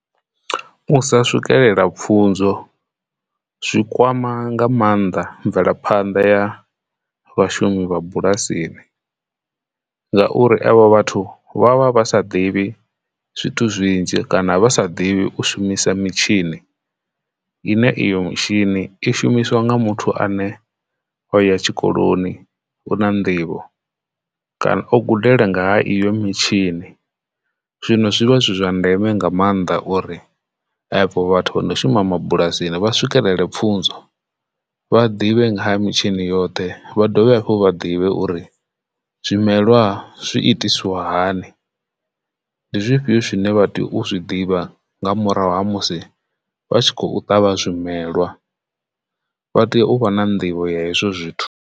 U sa swikelela pfhunzo zwikwama nga maanḓa mvelaphanḓa ya vhashumi vha bulasini ngauri evho vhathu vha vha vha sa ḓivhi zwithu zwinzhi kana vha sa ḓivhi u shumisa mitshini ine iyo mitshini i shumiswa nga muthu ane o ya tshikoloni u na nḓivho kana o kudalele ngaha iyo mitshini. Zwino zwivha zwi zwa ndeme nga maanḓa uri afho vhathu vha ndo shuma mabulasini vha swikelele pfhunzo vha ḓivhe nga ha mitshini yoṱhe vha dovhe hafhu vha ḓivhe uri zwimelwa zwi itiswa hani ndi zwifhio zwine vha tea u zwi ḓivha nga murahu ha musi vha tshi khou ṱavha zwimelwa vha tea u vha na nḓivho ya hezwi zwithu.